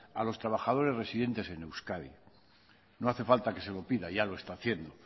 a los trabajadores residentes en euskadi no hace falta que se lo pida ya lo está haciendo